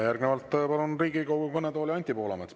Järgnevalt palun Riigikogu kõnetooli Anti Poolametsa.